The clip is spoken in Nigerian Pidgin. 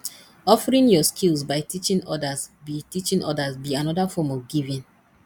offering yur skills by teaching odas be teaching odas be anoda form of giving